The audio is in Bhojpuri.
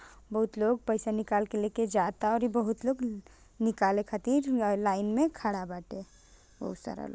बहुत लोग पैसा निकालके लेके जाता औरी बहुत लोग निकाली खातिर लाइन मे खड़ा बाटे बहुत सारा लोग।